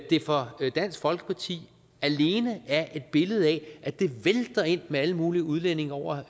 det for dansk folkeparti alene er et billede af at det vælter ind med alle mulige udlændinge over